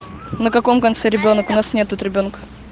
на каком конце ребёнок у нас нет тут ребёнка